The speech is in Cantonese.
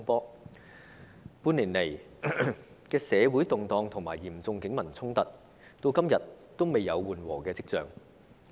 半年來的社會動盪和嚴重警民衝突，至今仍未有緩和跡象。